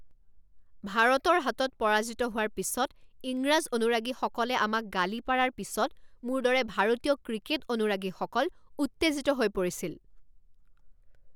ভাৰতৰ হাতত পৰাজিত হোৱাৰ পিছত ইংৰাজ অনুৰাগীসকলে আমাক গালি পাৰাৰ পিছত মোৰ দৰে ভাৰতীয় ক্ৰিকেট অনুৰাগীসকল উত্তেজিত হৈ পৰিছিল।